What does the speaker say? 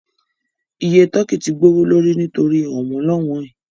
Iye tọ́kì tí gbowó lórí nítorí ọ̀wọ́n-lọ́wọn ẹ